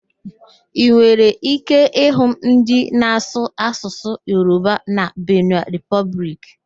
Ị nwere íké ịhụ ndị na-asụ Asụsụ Yoroba na Bene Repọblik